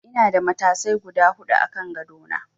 Ina da matasai guda huɗu a kan gado na.